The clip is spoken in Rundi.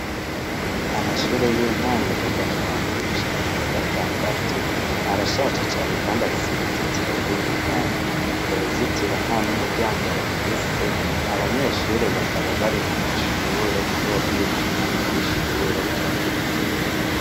Amashure y'intango kuva mu wa mbere gushika mu wa gatandatu arashaje cane, kandi afise uruzitiro rw'iminyari urwo ruzitiro nta n'umuryango rufise abanyeshure bakaba bari mu mashure, kubera yuko umwanya w'ishure wageze.